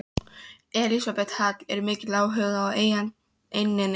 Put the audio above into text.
Elísabet Hall: Er mikill áhugi á eigninni?